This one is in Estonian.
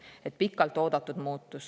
See on pikalt oodatud muutus.